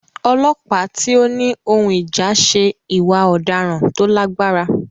Ọlọ́pàá tí ó ní ohun ìjà ṣe ìwà ọ̀daràn tó lágbára.